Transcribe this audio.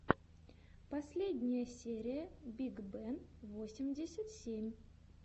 последняя серия биг бен восемьдесят семь